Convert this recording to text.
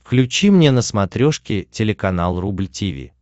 включи мне на смотрешке телеканал рубль ти ви